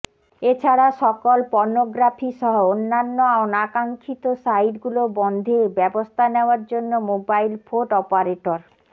এছাড়া সকল পর্নোগ্রাফিসহ অন্যান্য অনাকাঙ্খিত সাইট গুলো বন্ধে ব্যবস্থা নেওয়ার জন্য মোবাইল ফোট অপারেটর